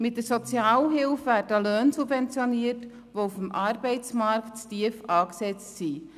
Mit der Sozialhilfe werden Löhne subventioniert, die auf dem Arbeitsmarkt zu tief angesetzt sind.